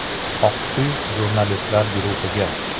“Oq uy jurnalistlar guruhiga.